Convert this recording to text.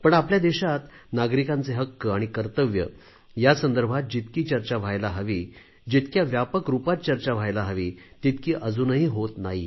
पण आपल्या देशात नागरिकांचे हक्क आणि कर्तव्ये यासंदर्भात जितकी चर्चा व्हायला हवी जितक्या व्यापक रूपात चर्चा व्हायला हवी तितकी अजूनही होत नाही